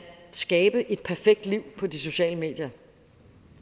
skabe et perfekt liv på de sociale medier